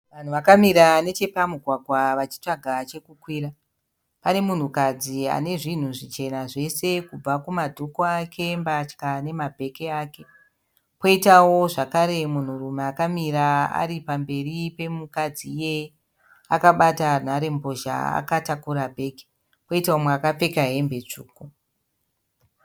Vanhu vakamira nechepamugwagwa vachitsvaga chekukwira. Pane munhukadzi ane zvinhu zvichena zvese kubva kumadhuku ake mbatya nemabheki ake. Kwoitawo zvakare munhurume akamira ari pamberi pemukadzi iyeye akabata nharembozha akatakura bheki kwoita mumwe akapfeka hembe tsvuku.